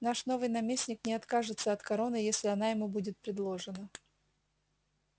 наш новый наместник не откажется от короны если она ему будет предложена